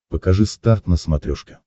покажи старт на смотрешке